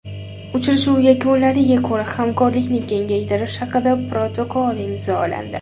Uchrashuv yakunlariga ko‘ra hamkorlikni kengaytirish haqida protokol imzolandi.